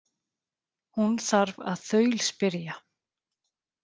Hún þarf að þaulspyrja.